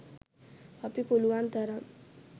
අපි පුලුවන් තරම්